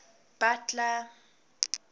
butler